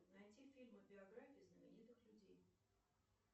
найти фильмы биографии знаменитых людей